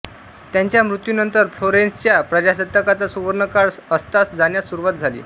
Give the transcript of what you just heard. त्याच्या मृत्यूनंतर फ्लोरेन्सच्या प्रजासत्ताकाचा सुवर्णकाळ अस्तास जाण्यास सुरुवात झाली